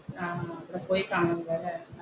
ആഹ് പോയി കാണണമല്ലേ.